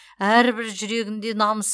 әрбір жүрегінде намысы